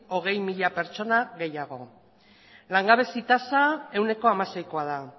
hogei mila pertsona gehiago langabezi tasa ehuneko hamaseikoa da